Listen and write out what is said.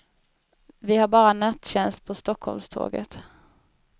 Vi har bara nattjänst på stockholmståget.